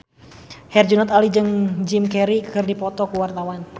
Herjunot Ali jeung Jim Carey keur dipoto ku wartawan